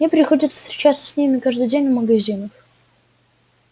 мне приходится встречаться с ними каждый день в магазинах